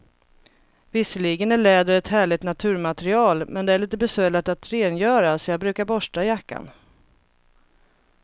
Visserligen är läder ett härligt naturmaterial, men det är lite besvärligt att rengöra, så jag brukar borsta jackan.